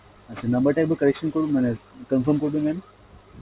আচ্ছা number টা একবার correction করুন মানে confirm করবেন mam